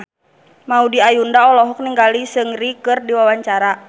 Maudy Ayunda olohok ningali Seungri keur diwawancara